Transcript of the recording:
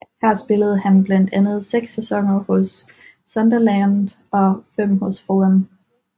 Her spillede han blandt andet seks sæsoner hos Sunderland og fem hos Fulham